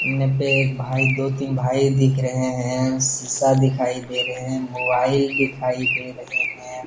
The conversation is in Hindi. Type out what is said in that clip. ने पे एक भाई दो तीन भाई दिखाई दे रहे हैं। शीशा दिखाई दे रहे हैं। मोबाइल दिखाई दे रहे हैं ।